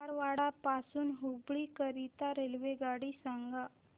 धारवाड पासून हुबळी करीता रेल्वेगाडी सांगा